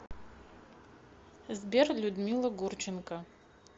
сбер людмила гурченко